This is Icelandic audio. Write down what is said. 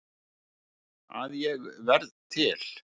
Að ég varð til.